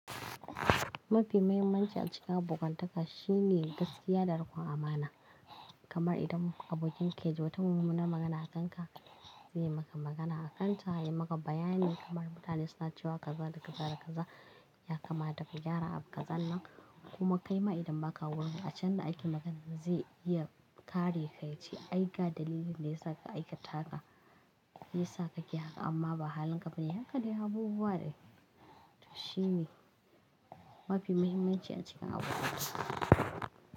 Mafi mahimmanci a cikin abokantaka shine gaskiya da riƙon amana. Kamar idan abokin kai ya ji wata mummunar magana a kanka, zai yi maka magana a kanta, ya yi maka bayani kamar mutane suna cewa kaza da kaza da kaza ya kamata ka gyara abu kazan nan kuma kai ma idan baka wurin a can da ake magana zai iya kare ka ya ce aiga dalilin da ya sa ka aikata haka, shi yasa kake haka amma ba halin gaba ne. Haka ne abubuwa dai. To Shi ne mafi mahimmanci a cikin abokanci.